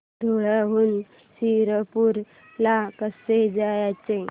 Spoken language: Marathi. धुळ्याहून शिरपूर ला कसे जायचे